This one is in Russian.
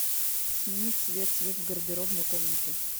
сменить цвет свет в гардеробной комнате